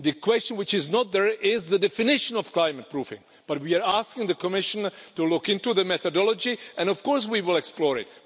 What is not there is the definition of climate proofing, we are asking the Commission to look into the methodology and, of course, we will explore it.